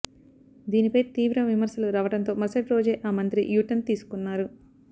దీనిపై తీవ్ర విమర్శలు రావడంతో మరుసటి రోజే ఆ మంత్రి యూటర్న్ తీసుకున్నారు